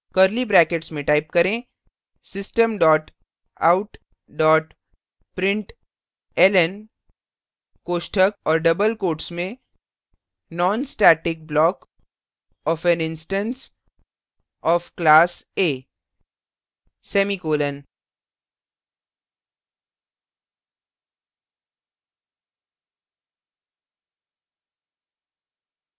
curly brackets में type करें system dot out dot println कोष्ठक और double quotes में non static block of an instance of class a semicolon